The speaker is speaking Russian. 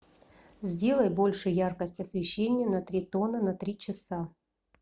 сделай больше яркость освещения на три тона на три часа